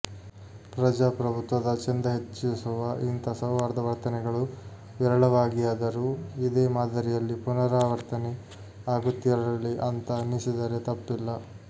ಪ್ರಜಾಪ್ರಭುತ್ವದ ಚೆಂದ ಹೆಚ್ಚಿಸುವ ಇಂಥ ಸೌಹಾರ್ದ ವರ್ತನೆಗಳು ವಿರಳವಾಗಿಯಾದರೂ ಇದೇ ಮಾದರಿಯಲ್ಲಿ ಪುವರಾವರ್ತನೆ ಆಗುತ್ತಿರಲಿ ಅಂತ ಅನ್ನಿಸಿದರೆ ತಪ್ಪಿಲ್ಲ